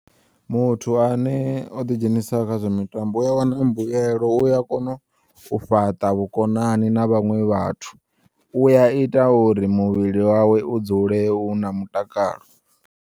Muthu ane o ḓi dzhenisa kha zwa mitambo u ya wana mbuyelo, u ya kono u fhaṱa vhukonani na vhaṅwe vhathu, u ya ita uri muvhili wawe u dzule u na mutakalo.